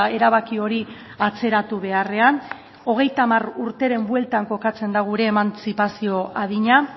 erabaki hori atzeratu beharrean hogeita hamar urteren bueltan kokatzen da gure emantzipazio adina